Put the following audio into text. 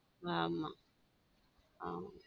ஆமா ஆமா.